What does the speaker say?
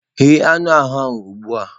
Ghe anụ ahụ ugbu a!